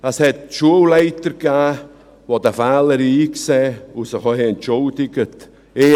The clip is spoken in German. Es gab Schulleiter, die diesen Fehler einsehen und sich auch entschuldigt haben.